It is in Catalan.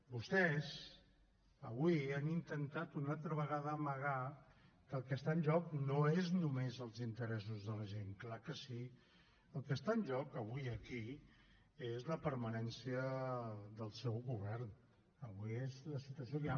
vostès avui han intentat una altra vegada amagar que el que està en joc no és només els interessos de la gent clar que sí el que està en joc avui aquí és la permanència del seu govern avui és la situació que hi ha